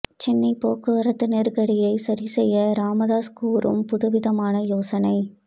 சென்னை போக்குவரத்து நெருக்கடியை சரிசெய்ய ராமதாஸ் கூறும் புதுவிதமான யோசனை